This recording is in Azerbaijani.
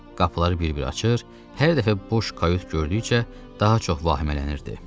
Qapıları bir-bir açır, hər dəfə boş kayut gördükcə daha çox vahimələnirdi.